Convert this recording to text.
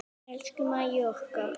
Elsku Mæja okkar.